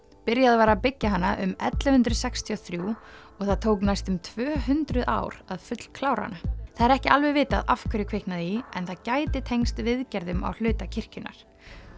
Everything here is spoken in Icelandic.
byrjað var að byggja hana um ellefu hundruð sextíu og þrjú og það tók næstum tvö hundruð ár að fullklára hana það er ekki alveg vitað af hverju kviknaði í en það gæti tengst viðgerðum á hluta kirkjunnar